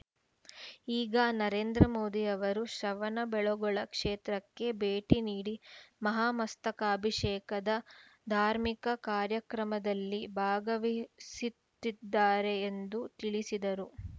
ಈಗ ನರೇಂದ್ರ ಮೋದಿ ಅವರು ಶ್ರವಣಬೆಳಗೊಳ ಕ್ಷೇತ್ರಕ್ಕೆ ಭೇಟಿ ನೀಡಿ ಮಹಾಮಸ್ತಕಾಭಿಷೇಕದ ಧಾರ್ಮಿಕ ಕಾರ್ಯಕ್ರಮದಲ್ಲಿ ಭಾಗವಹಿಸುತ್ತಿದ್ದಾರೆ ಎಂದು ತಿಳಿಸಿದರು